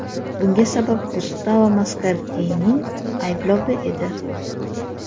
Bunga sabab Gustavo Maskardining ayblovi edi.